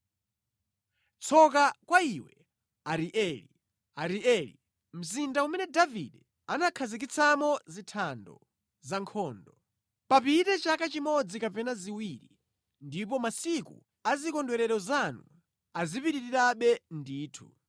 Tsoka kwa iwe, Arieli, Arieli, mzinda umene Davide anakhazikitsamo zithando za nkhondo! Papite chaka chimodzi kapena ziwiri ndipo masiku a zikondwerero zanu azipitirirabe ndithu.